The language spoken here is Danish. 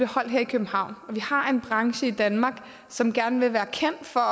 holdt her i københavn vi har en branche i danmark som gerne vil være kendt for